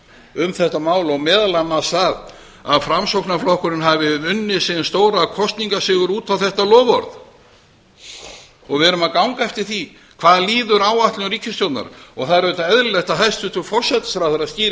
um þetta mál og meðal annars það að framsóknarflokkurinn hafi unnið sinn stóra kosningasigur út á þetta loforð við erum að ganga eftir því hvað líður áætlun ríkisstjórnar og það er auðvitað eðlilegt að hæstvirtur forsætisráðherra skýri